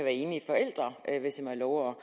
enlige forældre hvis jeg må